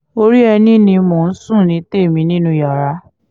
orí ẹni ni mò ń sùn ní tèmi nínú yàrá